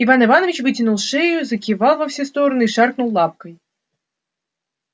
иван иванович вытянул шею закивал во все стороны и шаркнул лапкой